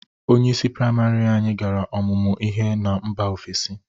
Onyeisi prịamarị anyị gara ọmụmụ ihe na mba ofesi.